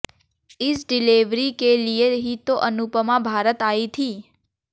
इस डिलेवरी के लिए ही तो अनुपमा भारत आई थी